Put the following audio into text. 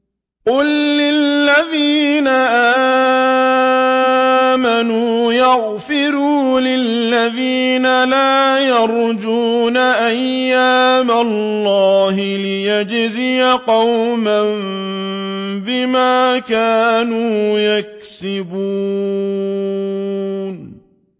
قُل لِّلَّذِينَ آمَنُوا يَغْفِرُوا لِلَّذِينَ لَا يَرْجُونَ أَيَّامَ اللَّهِ لِيَجْزِيَ قَوْمًا بِمَا كَانُوا يَكْسِبُونَ